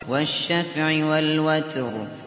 وَالشَّفْعِ وَالْوَتْرِ